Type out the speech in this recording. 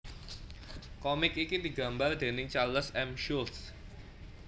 Komik iki digambar déning Charles M Schulz